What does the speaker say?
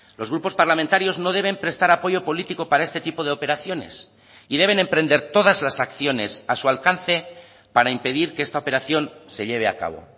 los grupos parlamentarios no deben prestar apoyo político para este tipo de operaciones y deben emprender todas las acciones a su alcance para impedir que esta operación se lleve a cabo